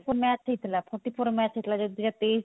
match ହେଇଥିଲା forty four match ହେଇଥିଲା ଦୁଇ ହଜାର ତେଇଶ